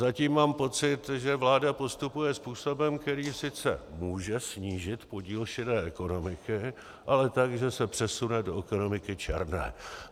Zatím mám pocit, že vláda postupuje způsobem, který sice může snížit podíl šedé ekonomiky, ale tak, že se přesune do ekonomiky černé.